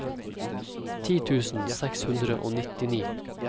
ti tusen seks hundre og nittini